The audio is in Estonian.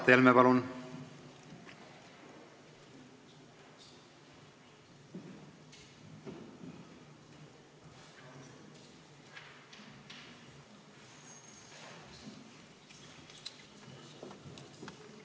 Mart Helme, palun!